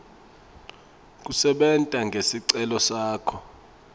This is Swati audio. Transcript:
kusebenta ngesicelo sakho